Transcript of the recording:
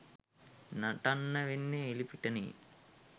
නටන්න වෙන්නේ එළිපිටනේ.